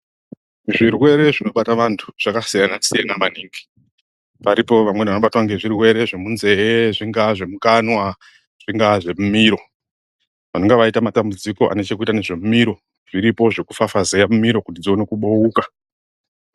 Zvirwere zvinobata vantu zvakasiyanasiyana maningi paripo vamweni vanobatwe ngezvirwere zvemunzee, zvingaa zvemukanwa, zvingaa zvemumiro, vanonga vaite matambudziko anechekuita nezvemumiro zviripo zvekufafazeya mimiro kuti dzione kubouka.